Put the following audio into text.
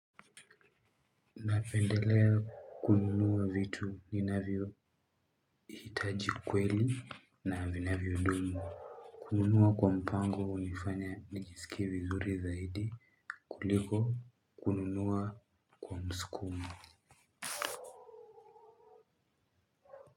Napendelea kununua vitu ninavyo hitaji kweli na vinavyo dumu. Kununua kwa mpango unifanya nijisikie vizuri zaidi kuliko kununua kwa msukumo.